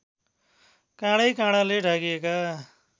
काँडैकाँडाले ढाकिएका